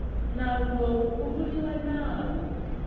nawu lowu wu vuriwa nawu